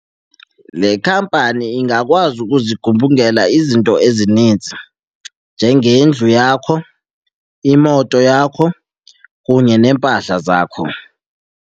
Le khampani ingakwazi ukuzigubungela izinto ezininzi njengendlu yakho, imoto yakho kunye neempahla zakho.